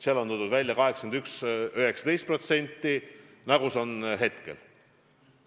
Seal on toodud välja suhe 81 : 19%, nii nagu see ka praegu on.